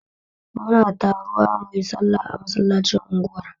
Muna taruwa muyi sallah a masallacin unguwar